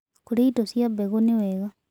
Kũrĩa ĩdo cia mbegũ nĩwega